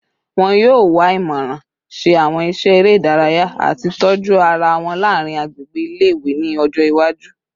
Wọn yoo wa imọran, ṣe awọn iṣẹ ere idaraya, ati tọju ara wọn laarin agbegbe ile-iwe ni ọjọ iwaju